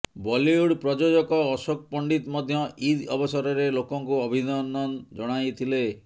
ବଲିଉଡ୍ ପ୍ରଯୋଜକ ଅଶୋକ ପଣ୍ଡିତ ମଧ୍ୟ ଇଦ୍ ଅବସରରେ ଲୋକଙ୍କୁ ଅଭିନନ୍ଦନ ଜଣାଇଥିଲେ